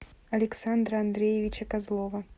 александра андреевича козлова